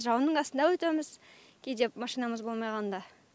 жауынның астында өтеміз кейде машинамыз болмай қалғанда